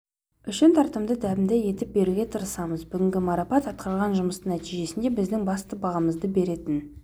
үшін тартымды дәмді етіп беруге тырысамыз бүгінгі марапат атқарған жұмыстың нәтижесі біздің басты бағамызды беретін